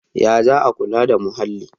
Ya za a kula da muhalli?